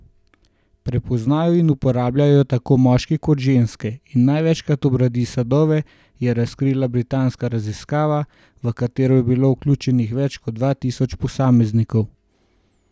Prepoznajo in uporabljajo jo tako moški kot ženske in največkrat obrodi sadove, je razkrila britanska raziskava, v katero je bilo vključenih več kot dva tisoč posameznikov.